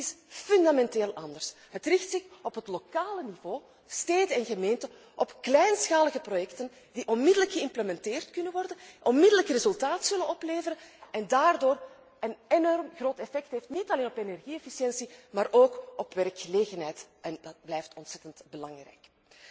Wel, dit is fundamenteel anders. Het richt zich op het lokale niveau, op steden en gemeenten, op kleinschalige projecten die onmiddellijk geïmplementeerd kunnen worden, onmiddellijk resultaat zullen opleveren en daardoor een enorm groot effect hebben, niet alleen op energie efficiëntie, maar ook op werkgelegenheid, en dat blijft ontzettend belangrijk.